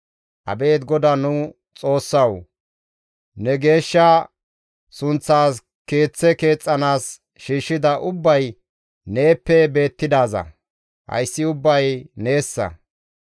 Abeet GODAA nu Xoossawu! Ne geeshsha sunththaas Keeththe keexxanaas shiishshida ubbay neeppe beettidaaza; hayssi ubbay neessa.